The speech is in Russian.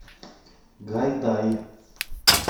гайдай